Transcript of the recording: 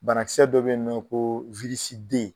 Bana kisɛ dɔ be yen nɔ koo